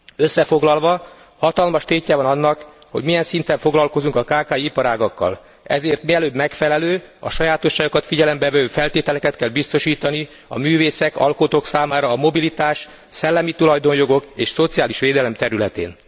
Összefoglalva, hatalmas tétje van annak, hogy milyen szinten foglalkozunk a kki iparágakkal, ezért mielőbb megfelelő, a sajátosságokat figyelembevevő feltételeket kell biztosítani a művészek, alkotók számára a mobilitás, a szellemi tulajdonjogok és a szociális védelem területén.